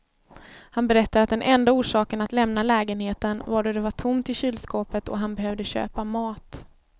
Han berättade att den enda orsaken att lämna lägenheten var då det var tomt i kylskåpet och han behövde köpa mat.